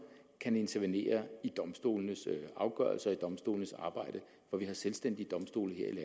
kan intervenere i domstolenes afgørelser og i domstolenes arbejde for vi har selvstændige domstole her i